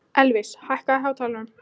Elvis, hækkaðu í hátalaranum.